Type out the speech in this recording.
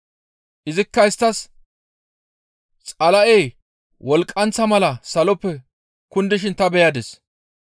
Izikka isttas, «Xala7ey wolqqanththa mala saloppe kundishin ta beyadis.